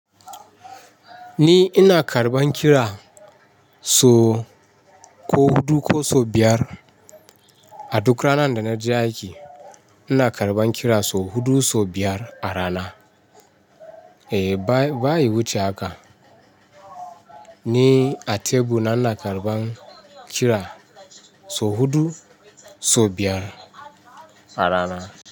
Ni ina karban kira so huɗu ko so biyar a duk ranan da na je aiki. Ina karban kira so huɗu, so biyar a rana. E, baya wuce aka. Ni a teku ina karban kira so huɗu, so biyar a rana.